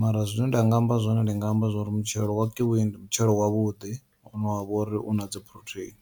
mara zwine nda nga amba zwone ndi nga amba zwa uri mutshelo wa kiwi ndi mutshelo wavhuḓi une wavha uri una dzi phurotheini.